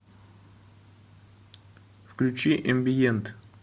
включи эмбиент